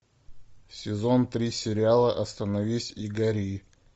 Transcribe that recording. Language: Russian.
сезон три сериала остановись и гори